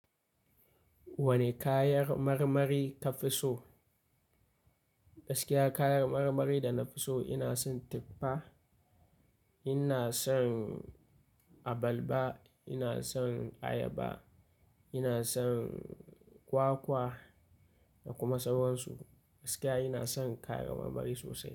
Wane kayan marmari ka fi so? Gaskiya kayan marmari da na fi so ina son tuffa, ina son abalba, ina son ayaba, ina son kwakwa da kuma sauransu. Gaskiya ina son kayan marmari sosai.